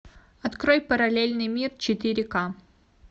открой параллельный мир четыре ка